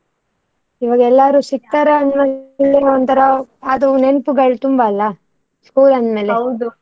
ಈವಾಗ ಎಲ್ಲರೂ ಸಿಕ್ತಾರೆ ಅದು ಒಂತರ ಅದು ನೆನಪುಗಳು ತುಂಬಾ ಅಲ್ಲ school ಅಂದ್ಮೇಲೆ.